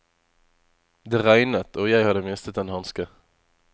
Det regnet, og jeg hadde mistet en hanske.